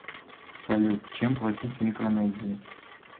салют чем платить в микронезии